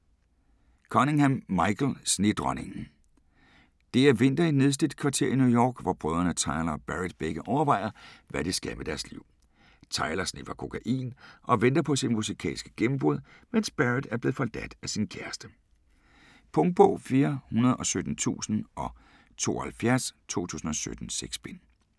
Cunningham, Michael: Snedronningen Det er vinter i et nedslidt kvarter i New York, hvor brødrene Tyler og Barrett begge overvejer, hvad de skal med deres liv. Tyler sniffer kokain og venter på sit musikalske gennembrud, mens Barrett er blevet forladt af sin kæreste. Punktbog 417072 2017. 6 bind.